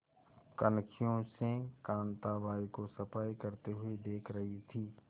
कनखियों से कांताबाई को सफाई करते हुए देख रही थी